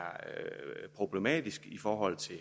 problematisk i forhold til